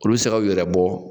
Olu bɛ se ka u yɛrɛ bɔ